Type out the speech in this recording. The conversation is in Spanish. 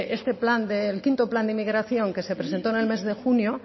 ese plan que el quinto plan de inmigración que se presentó en el mes de junio